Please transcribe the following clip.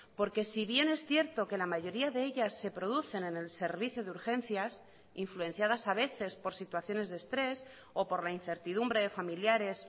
porque si bien es cierto que la mayoría de ellas se producen en el servicio de urgencias influenciadas a veces por situaciones de estrés o por la incertidumbre de familiares